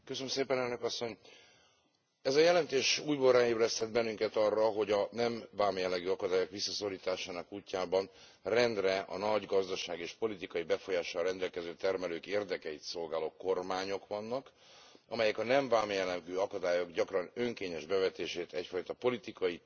Ez a jelentés újból ráébresztett bennünket arra, hogy a nem vámjellegű akadályok visszaszorításának útjában rendre a nagy gazdasági és politikai befolyással rendelkező termelők érdekeit szolgáló kormányok vannak, amelyek a nem vámjellegű akadályok gyakran önkényes bevetését egyfajta politikai, taktikai eszközüknek tekintik.